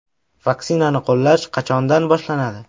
Vaksinani qo‘llash qachondan boshlanadi?